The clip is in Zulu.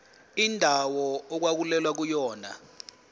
indawo okwakulwelwa kuyona